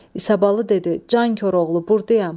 İsabalı dedi: Can Koroğlu, burdayam.